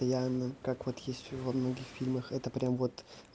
пьяным как вот есть во многих фильмах это прям вот